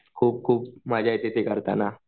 खूप खूप मजा येते ते करताना.